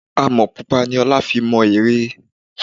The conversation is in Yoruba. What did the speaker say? Àmọ́ pupa ni ọlá fi mọ ère.